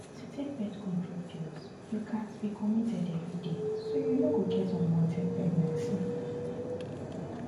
to take birth control pills you gatz be committed every day so you no go get unwanted pregnancy